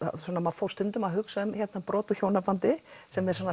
fór stundum að hugsa um brot úr hjónabandi sem er svona